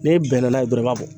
N'e bɛnna n'a ye dɔrɔn, i b'a bɔ.